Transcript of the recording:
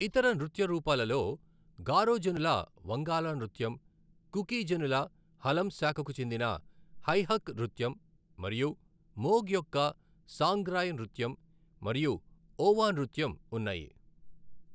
ఇతర నృత్య రూపాలలో గారో జనుల వంగాలా నృత్యం, కుకి జనుల హలం శాఖకు చెందిన హై హక్ నృత్యం, మరియు మోగ్ యొక్క సాంగ్రాయ్ నృత్యం మరియు ఓవా నృత్యం ఉన్నాయి.